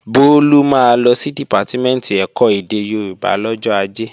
Bólú máa lọ sí Dìpátímẹ̀ntì ẹ̀kọ́ èdè Yorùbá lọ́jọ́ Ajé